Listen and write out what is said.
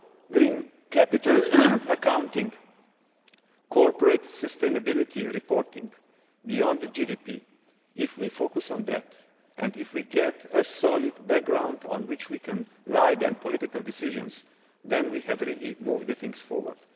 ahead. Green capital accounting, corporate sustainability reporting beyond GDP if we focus on that and if we get a solid background on which we can build political decisions, then we can really move things forward.